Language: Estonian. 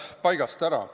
... paigast ära.